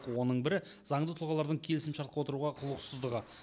оның бірі заңды тұлғалардың келісімшартқа отыруға құлықсыздығы